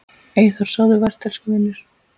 Eyþór, sofðu vært elsku vinur.